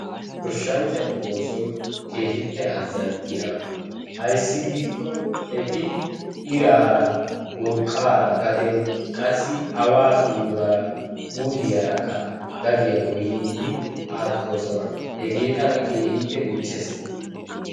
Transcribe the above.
Goshshanchatu oosoy keehippe azzanttiyaaba. Ayssi giikko eti iraara urqqaara gaden qassi awaa suuluwaara gadiyaa gooyyiidi aattoosona. Hegee tana keehippe michchees.